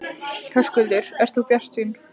Höskuldur: Ert þú bjartsýn?